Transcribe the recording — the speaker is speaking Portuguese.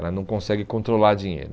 Ela não consegue controlar dinheiro.